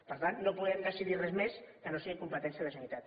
per tant no podem decidir res més que no sigui competència de la generalitat